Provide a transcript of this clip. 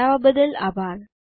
જોડવા બદલ આભાર